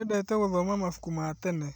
Endete gũthoma mabuku ma tene